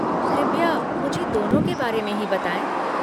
कृपया, मुझे दोनों के बारे में ही बताएँ।